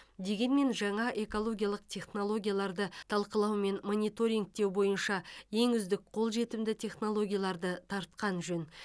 дегенмен жаңа экологиялық технологияларды талқылау мен мониторингтеу бойынша ең үздік қолжетімді технологияларды тартқан жөн